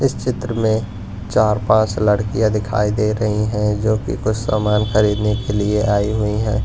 इस चित्र में चार पांच लड़कियां दिखाई दे रही हैं जो कि कुछ सामान खरीदने के लिए आई हुई है।